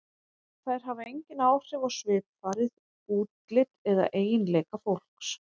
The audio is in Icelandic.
Þær hafa engin áhrif á svipfarið, útlit eða eiginleika fólks.